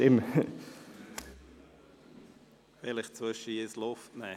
Vielleicht sollten Sie zwischendurch ein bisschen Luft holen!